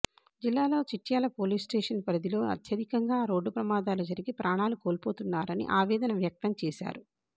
జిల్లాలో చిట్యాల పోలీస్స్టేషన్ పరిధిలో అత్యధికంగా రోడ్డు ప్రమాదాలు జరిగి ప్రాణాలు కోల్పోతున్నారని ఆవేదన వ్యక్తం చేశారు